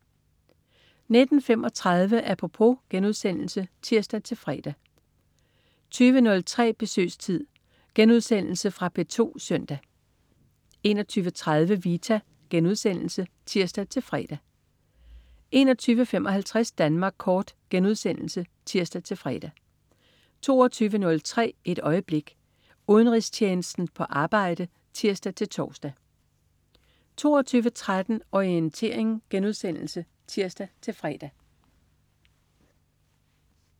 19.35 Apropos* (tirs-fre) 20.03 Besøgstid. Genudsendelse fra P2 søndag 21.30 Vita* (tirs-fre) 21.55 Danmark Kort* (tirs-fre) 22.03 Et øjeblik. Udenrigstjenesten på arbejde (tirs-tors) 22.13 Orientering* (tirs-fre)